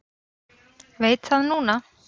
Veit það núna.